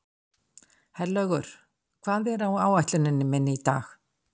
Herlaugur, hvað er á áætluninni minni í dag?